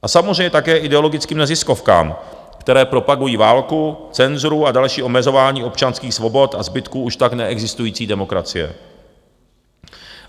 A samozřejmě také ideologickým neziskovkám, které propagují válku, cenzuru a další omezování občanských svobod a zbytku už tak neexistující demokracie.